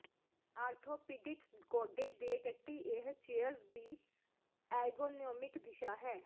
orthopaedic ਗੋਡੇ ਦੇ ਟੱਟੀ ਇਹ ਚੇਅਰਜ਼ ਦੀ ਐਰਗੋਨੋਮਿਕ ਦਿਸ਼ਾ ਹੈ